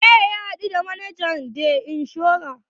Wane ne ya haɗu the manajan kamfanin inshora?